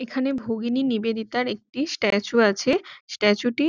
এইখানে ভগিনী নিবেদিতার একটি স্ট্যাচু আছে স্ট্যাটু -টি --